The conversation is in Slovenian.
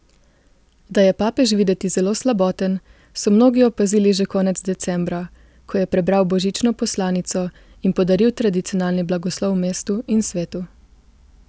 Da je papež videti zelo slaboten, so mnogi opazili že konec decembra, ko je prebral božično poslanico in podaril tradicionalni blagoslov mestu in svetu.